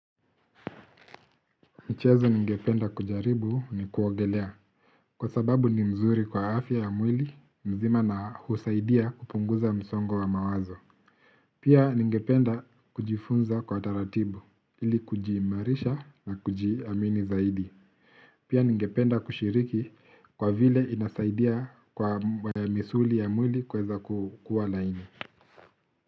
Michezo ningependa kujaribu ni kuogelea, kwa sababu ni mzuri kwa afya ya mwili mzima na husaidia kupunguza msongo wa mawazo. Pia ningependa kujifunza kwa taratibu, ili kujiimarisha na kujiamini zaidi. Pia ningependa kushiriki kwa vile inasaidia kwa misuli ya mwili kuweza kukua laini.